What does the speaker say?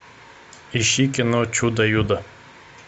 ищи кино чудо юдо